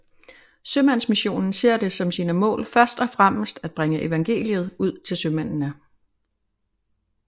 Sømandsmissionen ser det som sine mål først og fremmest at bringe evangeliet ud til sømændene